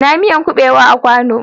Ina miyan kubewan a kwanu?